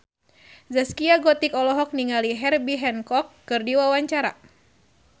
Zaskia Gotik olohok ningali Herbie Hancock keur diwawancara